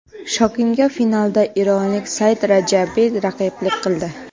Shokinga finalda eronlik Said Rajabiy raqiblik qildi.